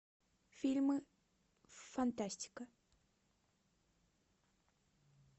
фильмы фантастика